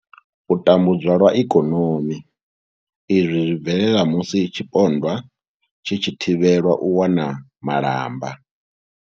U tambudzwa lwa ikonomi izwi zwi bvelela musi tshipondwa tshi tshi thivhelwa u wana malamba.